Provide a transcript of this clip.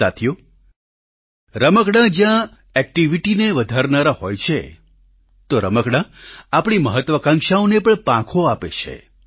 સાથીઓ રમકડાં જ્યાં એક્ટિવિટીને વધારનારા હોય છે તો રમકડાં આપણી મહત્વાકાંક્ષાઓને પણ પાંખો આપે છે